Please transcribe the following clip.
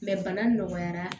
bana nɔgɔyara